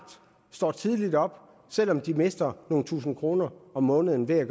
står tidligt op selv om de mister nogle tusind kroner om måneden ved at